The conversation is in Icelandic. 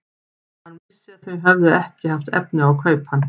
Hann vissi að þau höfðu ekki haft efni á að kaupa hann.